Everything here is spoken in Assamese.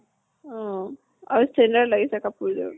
উম আৰু standard লাগিছে কাপোৰ যোৰ।